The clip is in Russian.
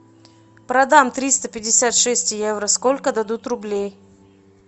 продам триста пятьдесят шесть евро сколько дадут рублей